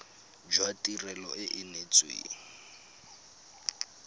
jwa tirelo e e neetsweng